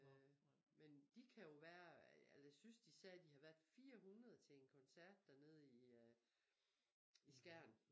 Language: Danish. Øh men de kan jo være jeg synes de sagde de havde været 400 til en koncert dernede i øh i Skjern